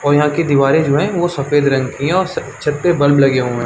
और यहाँ की दीवारें जो है वो सफेद रंग की है और छत पे बल्ब लगे हुए हैं।